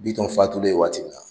Bitɔn fatulen waati min na